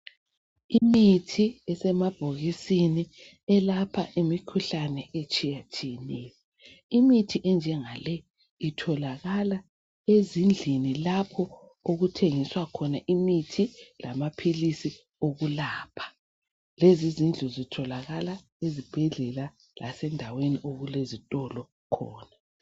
Imithi isemabhokisini elapha imikhuhlane etshiyatshiyeneyo. Imithi enjengale itholakala ezindlini lapho okuthengiswa khona imithi lamaphilisi okulapha. Lezi izindlu zitholakala ezibhedlela lasendaweni okulezitolo khona.